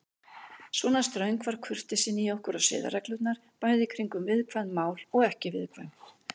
Svona ströng var kurteisin í okkur og siðareglurnar, bæði kringum viðkvæm mál og ekki viðkvæm.